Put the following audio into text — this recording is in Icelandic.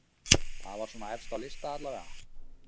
Það var svona efst á lista allavega.